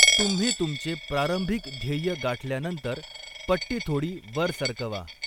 तुम्ही तुमचे प्रारंभिक ध्येय गाठल्यानंतर, पट्टी थोडी वर सरकवा.